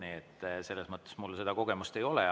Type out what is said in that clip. Nii et selles mõttes mul seda kogemust ei ole.